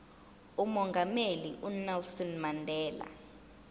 umongameli unelson mandela